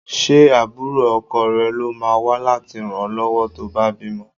Ṣé àbúrò ọkọ rẹ ló máa wá láti ràn ọ lọ́wọ́ tó bá bímọ?